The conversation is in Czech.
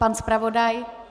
Pan zpravodaj?